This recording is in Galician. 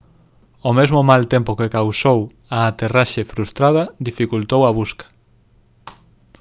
o mesmo mal tempo que causou a aterraxe frustrada dificultou a busca